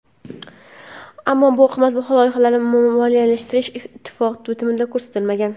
Ammo bu qimmatbaho loyihalarni moliyalashtirish ittifoq bitimida ko‘rsatilmagan.